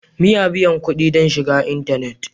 Muna biyan kuɗi don shiga intanet.